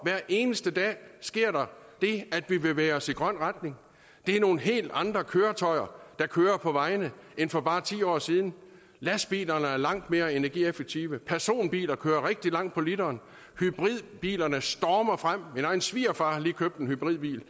hver eneste dag sker det at vi bevæger os i grøn retning det er nogle helt andre køretøjer der kører på vejene end for bare ti år siden lastbilerne er langt mere energieffektive personbiler kører rigtig langt på literen hybridbilerne stormer frem min egen svigerfar har lige købt en hybridbil